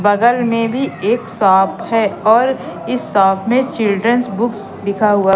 बगल में भी एक शॉप है और इस शॉप में चिल्ड्रंस बुक्स लिखा हुआ--